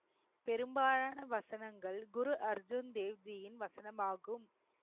பெரும்பாலான வசனங்கள் குரு அர்ஜுன் தேவ்ஜியின் வசனமாகும்